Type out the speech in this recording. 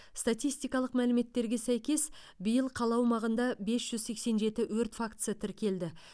статистикалық мәліметтерге сәйкес биыл қала аумағында бес жүз сексен жеті өрт фактісі тіркелді